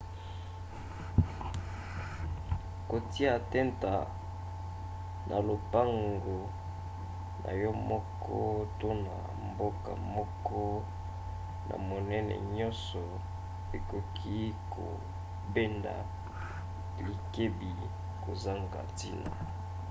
kotia tenta na lopango na yo moko to na mboka moko na monene nyonso ekoki kobenda likebi kozanga ntina